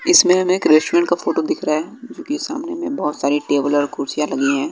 इसमें हमें एक रेस्टोरेंट का फोटो दिख रहा है जो कि सामने में बहुत सारी टेबल और कुर्सियां लगी हैं।